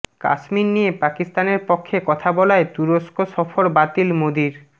কাশ্মীর নিয়ে পাকিস্তানের পক্ষে কথা বলায় তুরস্ক সফর বাতিল মোদির